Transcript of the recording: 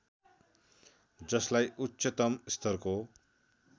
जसलाई उच्चतम स्तरको